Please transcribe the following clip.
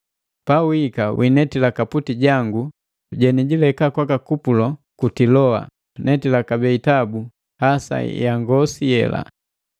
Pawihika winetila kaputi jangu lenileka kwaka Kupulo ku Tiloa, netila kabee itabu hasa ya ngosi yela.